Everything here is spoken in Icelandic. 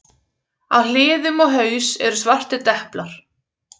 Á hliðum og haus eru svartir deplar.